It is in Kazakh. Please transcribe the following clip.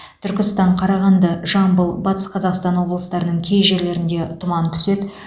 түркістан қарағанды жамбыл батыс қазақстан облыстарының кей жерлерінде тұман түседі